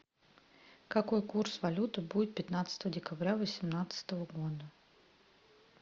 какой курс валюты будет пятнадцатого декабря восемнадцатого года